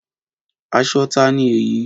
Aṣọ ta ni èyí?